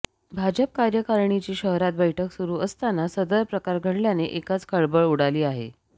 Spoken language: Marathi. भाजप कार्यकारणीची शहरात बैठक सुरु असताना सदर प्रकार घडल्याने एकाच खळबळ उडाली आहे